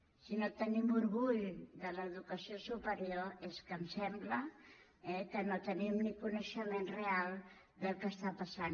que si no tenim orgull de l’educació superior és que em sembla que no tenim ni coneixement real del que està passant